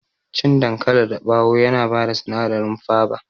Cikin dankali dabawo yana bada sinadari faba